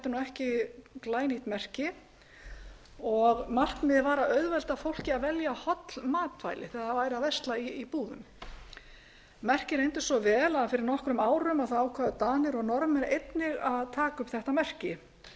ekki glænýtt merki markmiðið var að auðvelda fólki að velja holl matvæli þegar það væri að versla í búðum merkið reyndist svo vel að fyrir nokkrum árum ákváðu danir og norðmenn einnig að taka upp þetta merki finnar